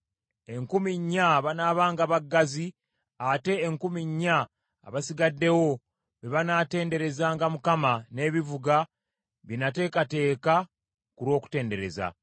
Enkumi nnya banaabanga baggazi, ate enkumi ennya abasigaddewo be banatenderezanga Mukama n’ebivuga bye nateekateeka ku lw’okutendereza.”